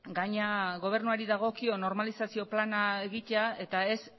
gainera gobernuari dagokio normalizazio plana egitea eta ez